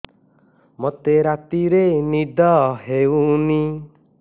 ମୋତେ ରାତିରେ ନିଦ ହେଉନି